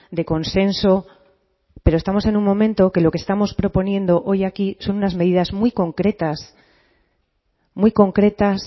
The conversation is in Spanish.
de consenso pero estamos en un momento que lo que estamos proponiendo hoy aquí son unas medidas muy concretas muy concretas